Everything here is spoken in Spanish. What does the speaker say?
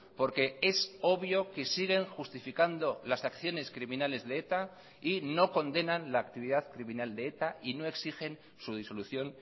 porque es obvio que siguen justificando las acciones criminales de eta y no condenan la actividad criminal de eta y no exigen su disolución